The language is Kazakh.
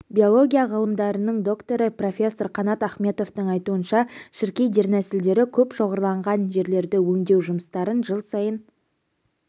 биология ғылымдарының докторы профессор қанат ахметовтың айтуынша шіркей дернәсілдері көп шоғырланған жерлерді өңдеу жұмыстарын жыл сайын